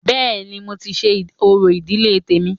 Bẹ́ẹ̀ni, mo ti ṣe orò ìdílé tèmi